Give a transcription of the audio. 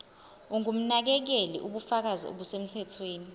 ongumnakekeli ubufakazi obusemthethweni